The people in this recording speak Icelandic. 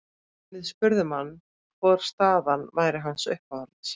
Við spurðum hann hvor staðan væri hans uppáhalds?